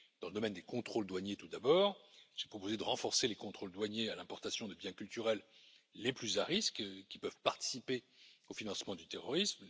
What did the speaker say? Dans le domaine des contrôles douaniers tout d'abord, j'ai proposé de renforcer les contrôles douaniers à l'importation de biens culturels les plus à risque, qui peuvent participer au financement du terrorisme.